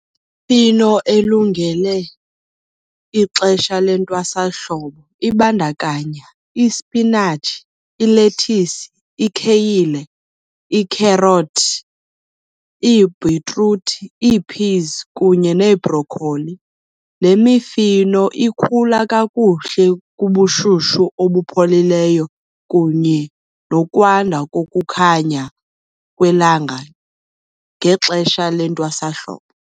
elungele ixesha lentwasahlobo ibandakanya ispinatshi, ilethisi, ikheyile, iikherothi, iibhitruthi, iiphizi kunye neebrokholi. Le mifino ikhula kakuhle kubushushu obupholileyo kunye nokwanda kokukhanya kwelanga ngexesha lentwasahlobo.